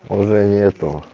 уже нету